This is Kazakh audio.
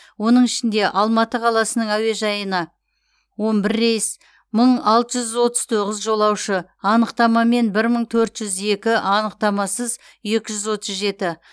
оның ішінде алматы қаласының әуежайына он бір рейс мың алты жүз отыз тоғыз жолаушы анықтамамен бір мың төрт жүз екі анықтамасыз екі жүз отыз жеті